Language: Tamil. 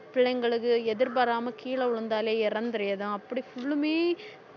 பிள்ளைங்களுக்கு எதிர்பாராம கீழே விழுந்தாலே இறந்தரதும் அப்படி full லுமே